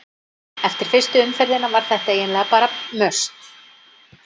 Eftir fyrstu umferðina var þetta eiginlega bara must.